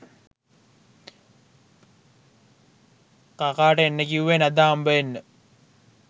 කකාට එන්න කිව්වෙ නැද්ද හම්බවෙන්න?